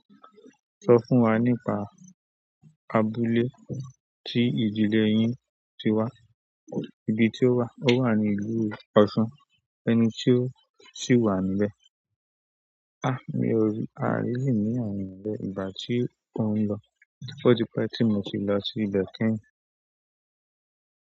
Sọ fún wa nípa abúlé tí ìdílé yín ti wà, ibi tí ó wà, ó wà ní ìlú Ọ̀ṣun, ẹni tí ó sì wà níbẹ̀. Ah mi ò rí, àríyìní wà níbẹ̀ ìgbà tí ó ń lọ. Oti pe ti moti lo si ibe kẹ́yìn.